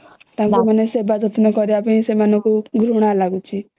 ତାଙ୍କୁ ମାନେ ସେମାଙ୍କୁ ସେବା ଯତ୍ନ କରିବା ଘୃଣା ଲାଗୁଛି